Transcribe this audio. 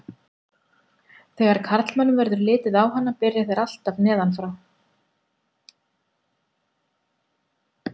Þegar karlmönnum verður litið á hana byrja þeir alltaf neðan frá.